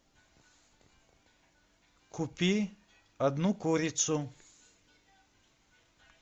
купи одну курицу